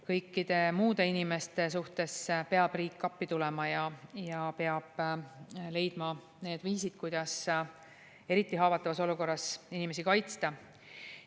Kõikide muude inimeste suhtes peab riik appi tulema ja peab leidma need viisid, kuidas eriti haavatavas olukorras inimesi kaitsta.